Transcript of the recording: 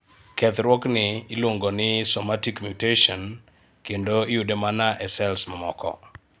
kethruok ni iluongo ni somatic mutation kendo iyude mana e sels mamoko